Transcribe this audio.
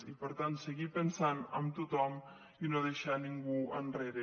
i per tant seguir pensant en tothom i no deixar ningú enrere